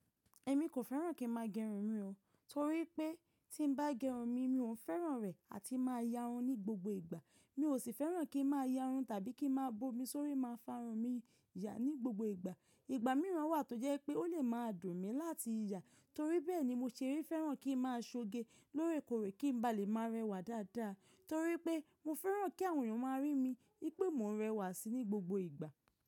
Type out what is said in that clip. Ẹ̀ mi kò fẹ́ràn kí n máa gẹrun mi o. Torí pé tí n bá gẹrun mi, mi ò fẹ́ràn rẹ̀ àti máa ya run ní gbogbo ìgbà. Mi ò sì fẹ́ràn kí n máa ya run tàbí kí n má a bo mi sórí máa fárun mi yà ní gbogbo ìgbà. Ìgbà mìíràn wà tó jẹ́ pé ó lè má a dùn mi láti yà. Torí bẹ́ẹ̀ ni mo ṣe fẹ́ràn kí n maa ṣoge lóòrèkóòrè kí n ba lè maa rẹwà dáadáa. Torí pé mo fẹ́ràn kí àwọn èèyàn má a rí mi pé mo ń rẹwà síi ní gbogbo ìgbà.